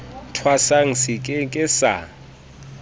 thwasang se ke ke sa